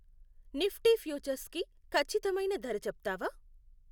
Nifty futures కి ఖచ్చితమైన ధర చెప్తావా